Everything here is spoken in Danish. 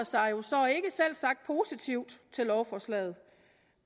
sig jo så selvsagt ikke positivt til lovforslaget